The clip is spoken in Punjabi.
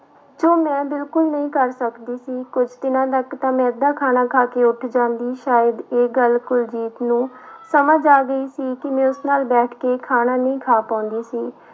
ਜੋ ਮੈਂ ਬਿਲਕੁਲ ਨਹੀਂ ਕਰ ਸਕਦੀ ਸੀ ਕੁਛ ਦਿਨਾਂ ਤੱਕ ਤਾਂ ਮੈਂ ਅੱਧਾ ਖਾਣਾ ਖਾ ਕੇ ਉੱਠ ਜਾਂਦੀ ਸ਼ਾਇਦ ਇਹ ਗੱਲ ਕੁਲਜੀਤ ਨੂੰ ਸਮਝ ਆ ਗਈ ਸੀ ਕਿ ਮੈਂ ਉਸ ਨਾਲ ਬੈਠ ਕੇ ਖਾਣਾ ਨਹੀਂ ਖਾ ਪਾਉਂਦੀ ਸੀ।